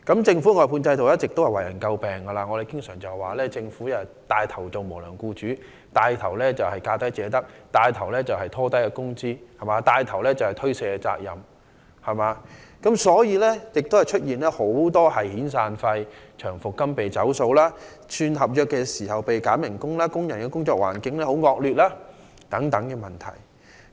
政府外判制度一直為人詬病，我們經常指責政府牽頭當無良僱主、牽頭實行"價低者得"的做法、牽頭拉低工資、牽頭推卸責任，因此出現遣散費及長期服務金被"走數"、轉合約時被扣減工資、工人工作環境惡劣等問題。